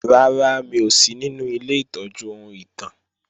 Rárá, mi ò sí ninu ilé ìtọ́jú ohun ìtàn